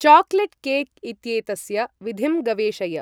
Chocolate cake इत्येतस्य विधिं गवेषय ।